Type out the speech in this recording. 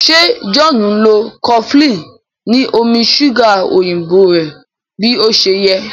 ṣe John nlọ cofflin ni omí ṣuga òyìnbó rẹ bí ọṣẹ yé?